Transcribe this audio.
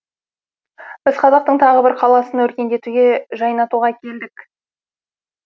біз қазақтың тағы бір қаласын өркендетуге жайнатуға келдік